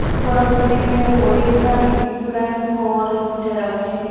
ଉପର ଵିଲ୍ଡିଂ ରେ Oriental Insurance Co Limited ଅଛି।